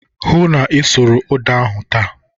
Hụụ na Ị sụrụ ụda ahụ taa!